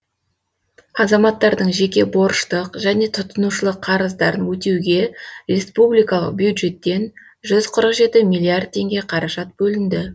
азаматтардың жеке борыштық және тұтынушылық қарыздарын өтеуге республикалық бюджеттен жүз қырық жеті миллиард теңге қаражат бөлінді